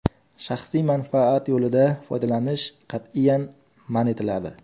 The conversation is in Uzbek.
Shaxsiy manfaat yo‘lida foydalanish qat’iyan man etiladi.